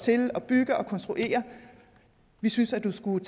til at bygge og konstruere vi synes at du skulle